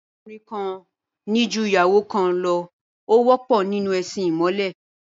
Kí ọkùnrin kan ní ju ìyàwó kan lọ, ó wọ́pọ̀ nínú ẹ̀sin ìmọ̀le